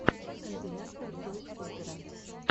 компиляция той скутера